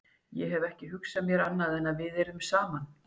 Ég hef ekki hugsað mér annað en að við yrðum saman.